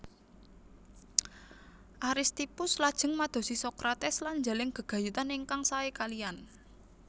Aristippus lajeng madosi Sokrates lan njalin gegayutan ingkang sae kaliyan